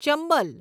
Chambal